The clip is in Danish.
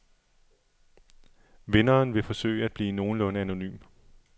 Vinderen vil forsøge at forblive nogenlunde anonym.